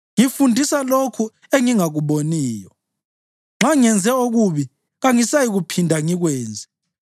Ngifundisa lokho engingakuboniyo; nxa ngenze okubi, kangisayikuphinda ngikwenze.’